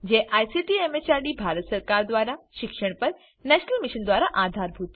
જે ICT MHRD Bharat સરકાર મારફતે શિક્ષણ પર નેશનલ મિશન દ્વારા આધાર અપાયેલ છે